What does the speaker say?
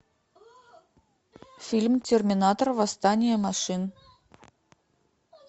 фильм терминатор восстание машин